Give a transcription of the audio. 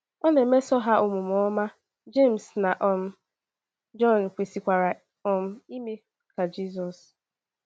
Ọ na - emeso ha omume ọma, Jems na um Jọn kwesịkwara um ime ka Jizọs.